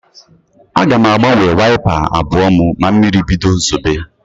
Aga m agbanwe waịpa abụọ m ma mmiri bido zobe.